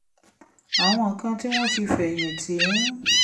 àwọn kan tí wọ́n ti fẹ̀yìn tì ń